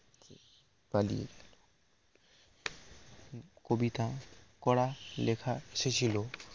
পালিয়ে কবিতা করা লেখা এসেছিল